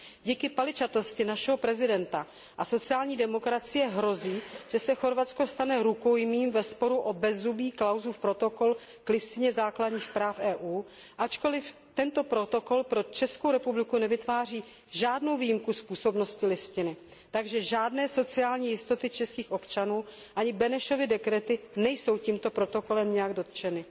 Díky paličatosti našeho prezidenta a sociální demokracie hrozí, že se Chorvatsko stane rukojmím ve sporu o bezzubý Klausův protokol k Listině základních práv EU, ačkoliv tento protokol pro Českou republiku nevytváří žádnou výjimku z působnosti listiny, takže žádné sociální jistoty českých občanů, ani Benešovy dekrety nejsou tímto protokolem nijak dotčeny.